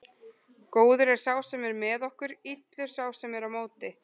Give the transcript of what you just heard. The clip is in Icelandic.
Góður er sá sem er með okkur, illur sá sem er á móti.